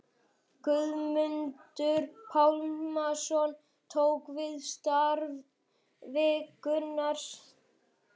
Guðmundur Pálmason tók við starfi Gunnars